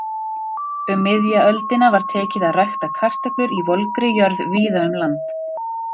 Um miðja öldina var tekið að rækta kartöflur í volgri jörð víða um land.